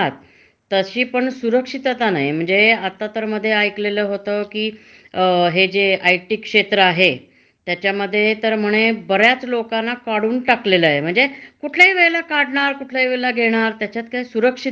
कुठल्याही वेळेला काढणार, कुठल्याही वेळेला घेणार त्याच्यात काही सुरक्षित नाही. असताना पैसे भरपूर मिळतात, पण कुठल्या वेळेला ते बाहेर काढतील ह्याची शाश्वती नाही म्हणजे. त्याच्य्मुळे सुरक्षित असं क्षेत्र म्हणजे बगायला गेल तर जस तुम्ही म्हणता,